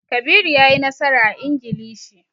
Kabiru ya yi nasara a Ingilishi.